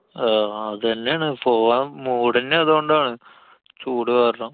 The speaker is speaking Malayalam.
അഹ് അതെന്നാണ്, പോകാൻ mood അന്നെ അതോണ്ടാണ്. ചൂട് കാരണം.